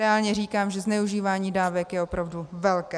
Reálně říkám, že zneužívání dávek je opravdu velké.